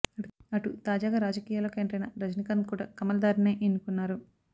అటు తాజాగా రాజకీయల్లోకి ఎంటరైన రజనీకాంత్ కూడా కమల్ దారినే ఎన్నుకున్నారు